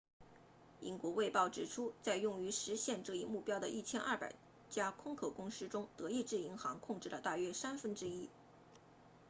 英国卫报指出在用于实现这一目标的1200家空壳公司中德意志银行控制了大约三分之一